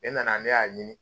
Ne nana ne y'a ɲini.